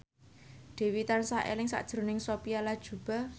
Dewi tansah eling sakjroning Sophia Latjuba